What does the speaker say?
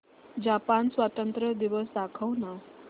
Japan स्वातंत्र्य दिवस दाखव ना